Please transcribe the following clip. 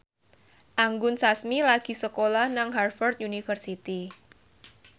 Anggun Sasmi lagi sekolah nang Harvard university